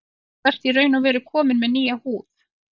Þú ert í raun og veru kominn með nýja húð.